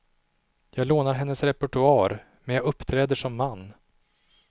Jag lånar hennes repertoar, men jag uppträder som man.